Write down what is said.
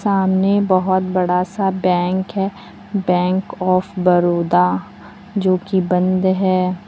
सामने बहोत बड़ा सा बैंक है बैंक ऑफ़ बड़ोदा जोकि बंद है।